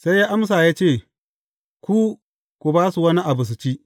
Sai ya amsa ya ce, Ku, ku ba su wani abu su ci.